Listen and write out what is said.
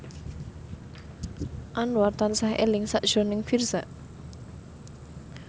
Anwar tansah eling sakjroning Virzha